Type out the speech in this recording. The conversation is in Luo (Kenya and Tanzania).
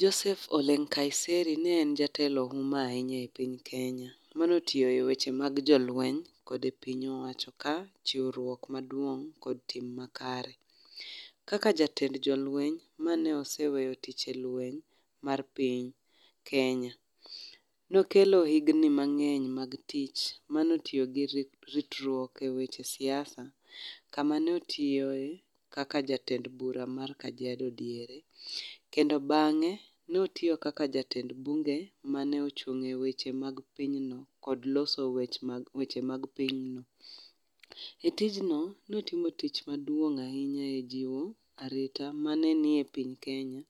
Joseph Ole Nkaiserry ne en jatelo ma huma ahinya e piny Kenya mane otiyo e jatend jolweny kod piny owacho ka chiwruok maduong kod ting makare. Kaka jatend jolweny mane oseweyo tich e lweny mar piny Kenya, nokelo higni mangeny mag tich mane otiyo gi ritruok e weche siasa, kama notiyoe kaka jatend bura mar Kajiado diere, kendo bange notiyo kaka jatend bunge mane ochung e weche mag piny no kod loso weche mag piny no.E tijno notimo tich maduong mar jiiwo arita e piny Kenya